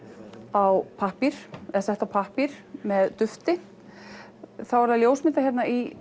á pappír eða sett á pappír með dufti þá er það ljósmyndað hérna í